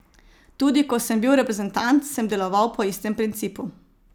Tudi ko sem bil reprezentant, sem deloval po istem principu.